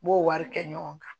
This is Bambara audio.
N b'o wari kɛ ɲɔgɔn kan